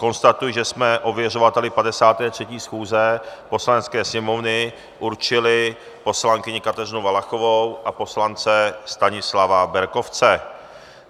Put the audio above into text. Konstatuji, že jsme ověřovateli 53. schůze Poslanecké sněmovny určili poslankyni Kateřinu Valachovou a poslance Stanislava Berkovce.